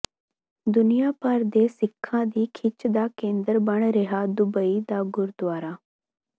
ਦੁਨੀਆ ਭਰ ਦੇ ਸਿੱਖਾਂ ਦੀ ਖਿੱਚ ਦਾ ਕੇਂਦਰ ਬਣ ਰਿਹਾ ਦੁਬਈ ਦਾ ਗੁਰਦੁਆਰਾ